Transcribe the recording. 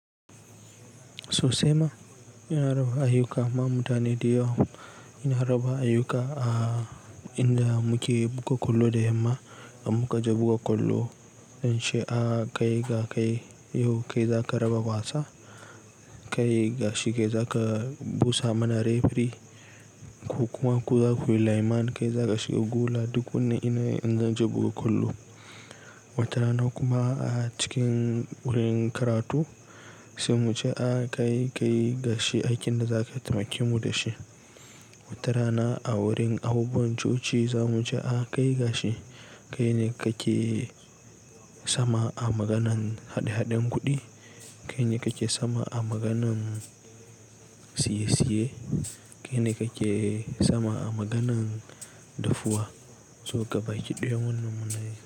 Sosai ma, ina raba ayyuka ma mutane dayawa. Ina raba ayyuka a inda muke buga kwallo da yamma, in muka je buga kwallo in ce, "kaiga kai yau kai zaka raba wasa, kai gashi kai zaka busa mana referee ko kuma ku zaku yi lineman kai zaka shiga gola" duk wannan ina in zan je buga kwallo. Wata rana kuma a cikin wurin karatu sai mu ce, "kai ka yi gashi aikin da zakayi taimaki mu da shi". Wata rana a wurin abubuwan coci za mu ce, "a kai gashi kaine kake sama a maganan haɗe-haɗen kuɗi, kaine kake sama a maganan siyesiye, kaine kake sama a maganan dafuwa" so gabaki daya mune muna yi.